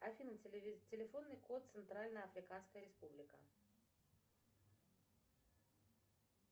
афина телефонный код центральная африканская республика